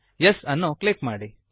Yes ಅನ್ನು click ಮಾಡಿ